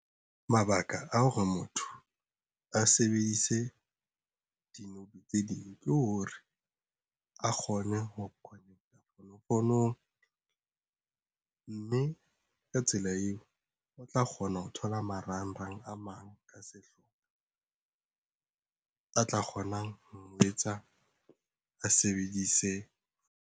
Mabaka a hore motho a sebedise di-node tse ding ke hore a kgone ho connect-a fonofonong mme ka tsela eo o tla kgona ho thola marangrang a mang ka sehlopha a tla kgonang ho etsa a sebedise.